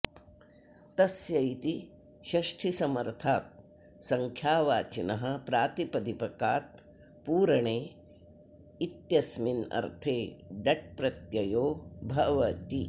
तस्य इति षष्ठीसमर्थात् सङ्ख्यावाचिनः प्रातिपदिकात् पूरणे इत्यस्मिन्नर्थे डट् प्रत्ययो भवति